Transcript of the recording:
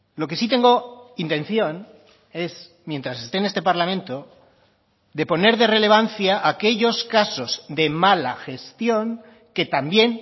lo que sí tengo intención es mientras esté en este parlamento de poner de relevancia aquellos casos de mala gestión que también